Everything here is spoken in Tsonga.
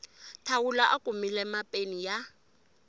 thawula a kumile mapeni ya